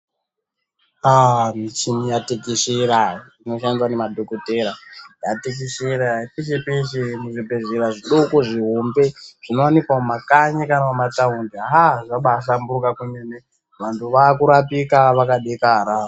Michini yatekeshera inoshandiswa ngemadhokodhera yatekeshera peshe peshe muzvibhedhlera zvidoko zvihombe Zvinowanika mumakanyi kana mumataundi haa zvabahlamburuka kwemene vantu vakurapika vakadekara.